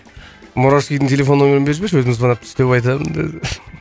мурашкидің телефон нөмірін беріп жіберші өзім звондап